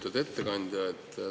Lugupeetud ettekandja!